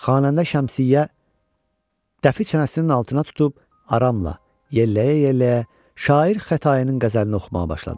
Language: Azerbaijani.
Xanəndə Şəmsiyyə dəfi çənəsinin altına tutub aramla yəlləyə-yəlləyə şair Xətayinin qəzəlini oxumağa başladı.